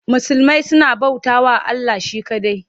Musulmai suna bautawa Allah she kaɗai.